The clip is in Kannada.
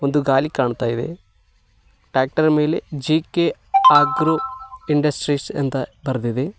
ಒಂದು ಗಾಲಿ ಕಾಣ್ತಾ ಇದೆ ಟ್ರ್ಯಾಕ್ಟರ್ ಮೇಲೆ ಜಿ_ಕೆ ಆಗ್ರೋ ಇಂಡಸ್ಟ್ರೀಸ್ ಅಂತ ಬರೆದಿದೆ.